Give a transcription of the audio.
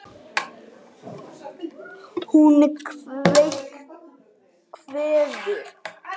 Hún kveður.